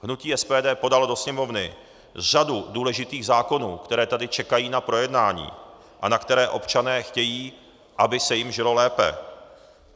Hnutí SPD podalo do Sněmovny řadu důležitých zákonů, které tady čekají na projednání a na které občané chtějí, aby se jim žilo lépe.